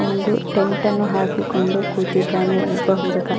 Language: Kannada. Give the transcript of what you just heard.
ಒಂದು ಟೆಂಟ್ ಅನ್ನು ಹಾಕಿಕೊಂಡು ಕೂತಿದ್ದಾನೆ ಒಬ್ಬ ಹುಡುಗ.